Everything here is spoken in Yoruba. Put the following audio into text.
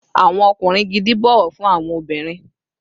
Awọn ọkunrin gidi bọwọ fun awọn obinrin